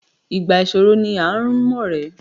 Ìgbà ìṣòro ni à ń ọ̀rẹ́.